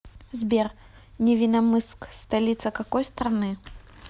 сбер невинномысск столица какой страны